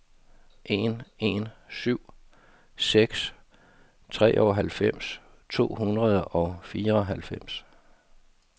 en en syv seks treoghalvfems to hundrede og fireoghalvfems